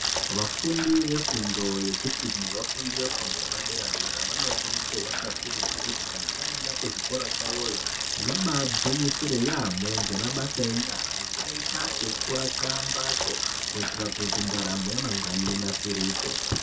Vafundi vefundo yechipiri nevafundi vefundo yepadera-dera vanokurudzirwa kakurutu kuti kana vaenda kuzvikora kwavoyo vabagwinyisire yaamho ngemabasa enyara akaita sekuaka mbatso kuitira kuti ndaramo yamangwani inasirike.